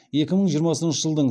екі мың жиырмасыншы жылдың